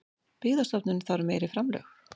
Byggðastofnun þarf meiri framlög